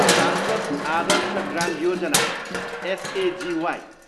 सांसद आदर्श ग्राम योजना, एसएजिवाई